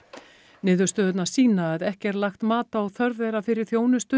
niðurstöðurnar sýna að ekki er lagt mat á þörf þeirra fyrir þjónustu